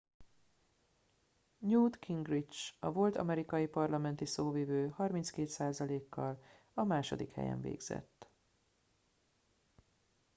newt gingrich a volt amerikai parlamenti szóvivő 32%-kal a második helyen végzett